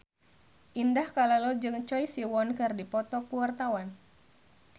Indah Kalalo jeung Choi Siwon keur dipoto ku wartawan